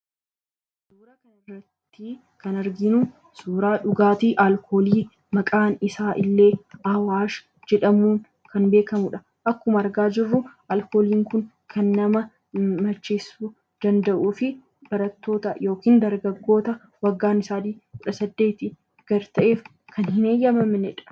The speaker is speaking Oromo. Suuraa kana irratti kan arginu, suuraa dhugaatii alkoolii maqaan isaa illee awaash jedhamuun kan beekamudha. Akkuma argaa jirru alkooliin Kun kan nama macheessuu danda'uu fi barattoota yookaan dargaggoota waggaan isaanii kudha saddeeti gad ta'eef kan hin eeyyamamnedha.